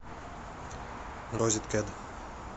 розеткед